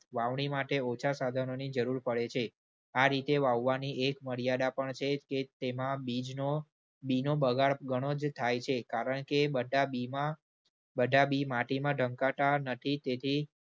વાવણી માટે ઓછા સાધનોની જરૂર પડે છે. આ રીતે વાવવાની એક મર્યાદા પણ છે કે તેમાં બીજનો, બીનો બગાડ ઘણો જ થાય છે કારણ કે બધા બીમાં બધા બી માટીમાં ધમકાતા નથી તેથી